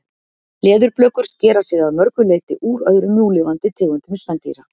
leðurblökur skera sig að mörgu leyti úr öðrum núlifandi tegundum spendýra